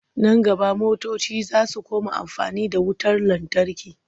Nan gaba motoci za su koma amfani da wutar lantarki.